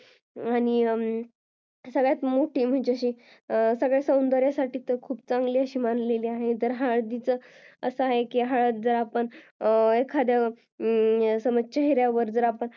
आणि सगळ्या सौंदर्यासाठी ही खूप चांगली अशी मानली आहे जर हळदीचा असा आहे की हळद आपण एखाद्यावर समज चेहऱ्यावर